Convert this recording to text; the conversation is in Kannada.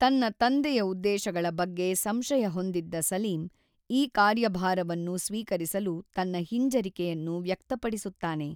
ತನ್ನ ತಂದೆಯ ಉದ್ದೇಶಗಳ ಬಗ್ಗೆ ಸಂಶಯ ಹೊಂದಿದ್ದ ಸಲೀಂ, ಈ ಕಾರ್ಯಭಾರವನ್ನು ಸ್ವೀಕರಿಸಲು ತನ್ನ ಹಿಂಜರಿಕೆಯನ್ನು ವ್ಯಕ್ತಪಡಿಸುತ್ತಾನೆ.